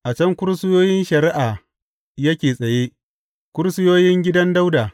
A can kursiyoyin shari’a yake tsaye, kursiyoyin gidan Dawuda.